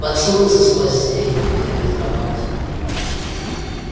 поцелуй за спасение это ведь романтика